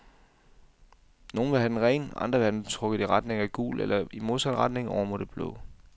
Nogle vil have den ren, andre vil have den trukket i retning af gul eller i modsat retning, over mod det blå.